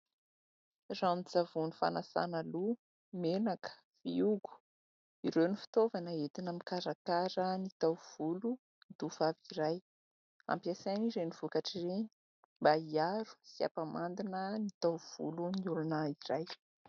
Ranon-tsavony fanasana loha, menaka, fiogo ; ireo ny fitaovana entina mikarakara ny taovolon'ny tovovavy iray. Ampiasaina ireny vokatra ireny mba hiaro sy hampamandina ny taovolon'ny olona iray.